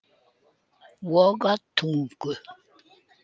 Vogatungu